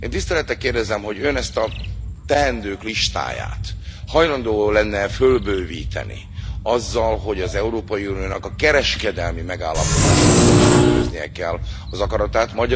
Én tisztelettel kérdezem, hogy Ön ezt a teendők listáját hajlandó lenne e fölbővíteni, azzal, hogy az Európai Uniónak a kereskedelmi megállapodásaiban is tükröznie kell az akaratát?